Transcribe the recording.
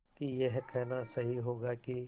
कि यह कहना सही होगा कि